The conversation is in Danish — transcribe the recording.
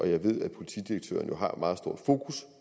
jeg ved at politidirektøren har meget stort fokus